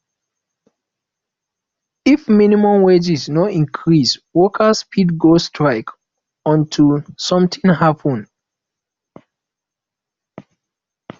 if minimum wage no increase workers fit go strike until something happen